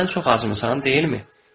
Sən çox acmısan, deyilmi?